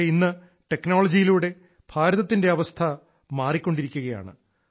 പക്ഷേ ഇന്ന് ടെക്നോളജിയിലൂടെ ഭാരതത്തിന്റെ അവസ്ഥ മാറിക്കൊണ്ടിരിക്കുകയാണ്